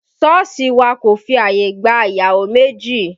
Sọ́ọ̀sì wà kò fi ààyè gba ìyàwó méjì